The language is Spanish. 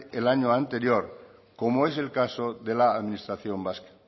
el año anterior como es el caso de la administración vasca